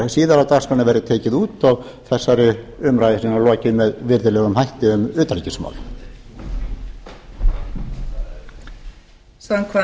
síðar á dagskránni verði tekið út og þessari umræðu lokið með virðulegum hætti um utanríkismál